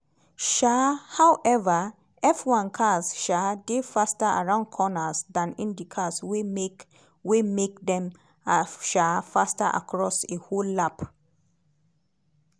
um however f1 cars um dey faster around corners dan indycars wey make wey make dem um faster across a whole lap.